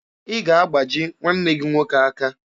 Ị ga-agbaji nwanne gị nwoke aka.